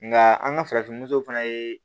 Nka an ka farafin fana ye